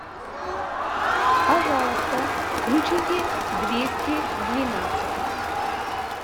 пожалуйста включите двести двенадцатый